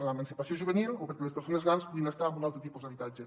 l’emancipació juvenil o perquè les persones grans puguin estar en un altre tipus d’habitatge